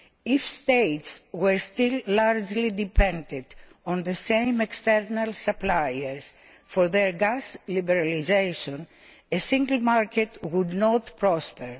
If states were still largely dependent on the same external suppliers for their gas liberalisation, a single market would not prosper.